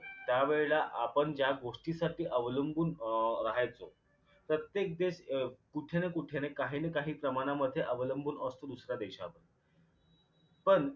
त्या वेळेला आपण ज्या गोष्टीसाठी अवलंबून अं राहायचो प्रत्येक देश अं कुठे न कुठे काही ना काही जमान्यामध्ये अवलंबून असतो दुसऱ्या देशावर पण